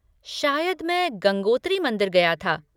शायद मैं गंगोत्री मंदिर गया था।